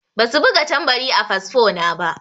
Ba su buga tambari a fasfo na ba.